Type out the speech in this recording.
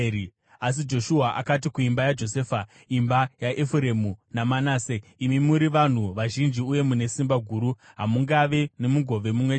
Asi Joshua akati kuimba yaJosefa, imba yaEfuremu naManase, “Imi muri vanhu vazhinji uye mune simba guru. Hamungave nomugove mumwe chete